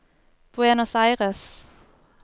Buenos Aires